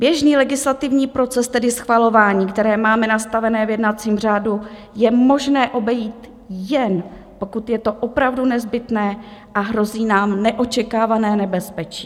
Běžný legislativní proces, tedy schvalování, které máme nastavené v jednacím řádu, je možné obejít, jen pokud je to opravdu nezbytné a hrozí nám neočekávané nebezpečí.